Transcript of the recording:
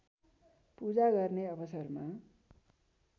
पूजा गर्ने अवसरमा